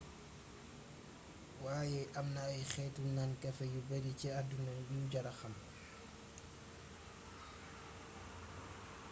wayé amna ay xeetu naan kafé yu bari ci adduna yu jara xam